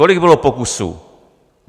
Kolik bylo pokusů?